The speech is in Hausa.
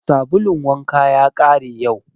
Sabulun wanka ya ƙare yau